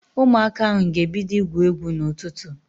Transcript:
Ụmụaka ahụ ga-ebido igwu egwu n'ụtụtụ